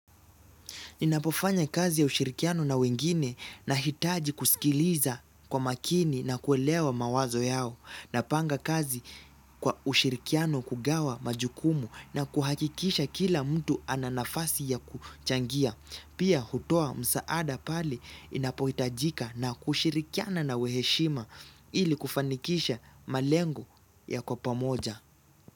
Ninapofanya kazi ya ushirikiano na wengine nahitaji kusikiliza kwa makini na kuelewa mawazo yao. Napanga kazi kwa ushirikiano kugawa majukumu na kuhakikisha kila mtu ananafasi ya kuchangia. Pia hutoa msaada pale inapohitajika na kushirikiana na waheshima ili kufanikisha malengo ya kwa pamoja.